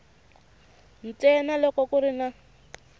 ntsena loko ku ri na